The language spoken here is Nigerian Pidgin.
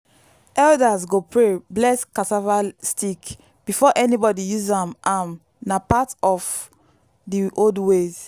elders go pray bless cassava stick before anybody use am am na part of the old ways.